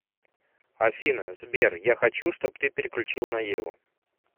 афина сбер я хочу чтоб ты переключил на еву